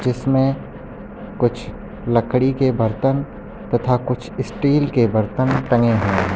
इसमें कुछ लकड़ी के बर्तन तथा स्टील के बर्तन टंगे हुए हैं।